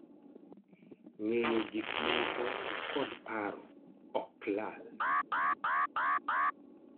Ng'eyo gikmoko kod paro ok lal